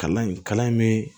Kalan in kalan in bɛ